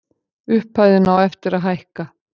Upphæðin á eftir að hækka.